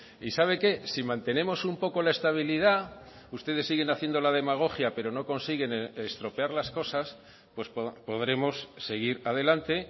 y sabe qué si mantenemos un poco la estabilidad ustedes siguen haciendo la demagogia pero no consiguen estropear las cosas pues podremos seguir adelante